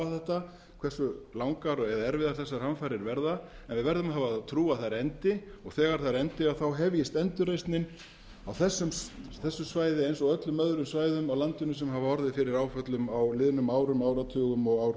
þetta hversu langar eða erfiðar þessar hamfarir verða en við verðum að hafa þá trú að þær endi og þegar þær endi hefjist endurreisnin á þessu svæði eins og öllum öðrum svæðum á landinu sem hafa orðið fyrir áföllum á liðnum árum áratugum og